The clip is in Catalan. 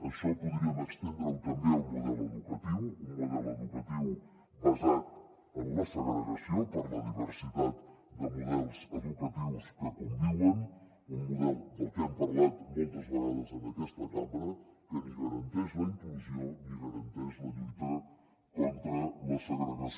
això podríem estendre ho també al model educatiu un model educatiu basat en la segregació per la diversitat de models educatius que conviuen un model del que hem parlat moltes vegades en aquesta cambra que ni garanteix la inclusió ni garanteix la lluita contra la segregació